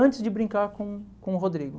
Antes de brincar com com o Rodrigo.